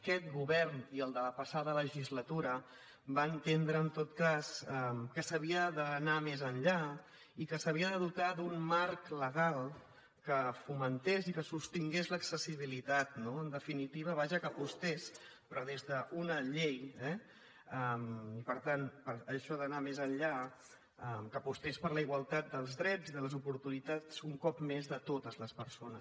aquest govern i el de la passada legislatura va entendre en tot cas que s’havia d’anar més enllà i que s’havia de dotar d’un marc legal que fomentés i sostingués l’accessibilitat no en definitiva vaja que apostés però des d’una llei eh i per tant això ha d’anar més enllà que apostés per la igualtat dels drets i de les oportunitats un cop més de totes les persones